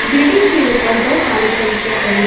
building के ऊपर दो काली टंकिया पड़ी--